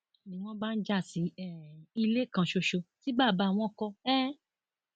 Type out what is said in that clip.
ni wọn bá ń já sí um ilé kan ṣoṣo tí bàbá wọn kọ um